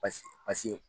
Basi paseke